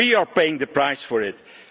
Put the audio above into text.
Europe. We are paying the price for